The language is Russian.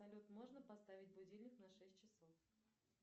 салют можно поставить будильник на шесть часов